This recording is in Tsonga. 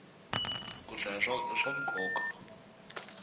ku hlaya i swa nkoka